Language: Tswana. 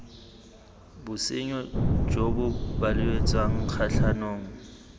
bosenyo jo bo belaetsang kgatlhanong